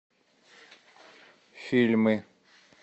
фильмы